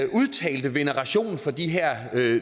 udtalte veneration for de her